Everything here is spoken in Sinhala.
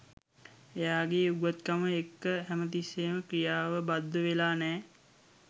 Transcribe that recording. එයාගේ උගත්කමත් එක්ක හැම තිස්සේම ක්‍රියාව බද්ධවෙලා නෑ